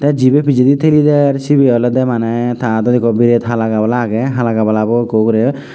te jibe pijedi theli der cibi olode mane ta aadot ekko biret hala gabala aage hala gabalabo ekku ugure.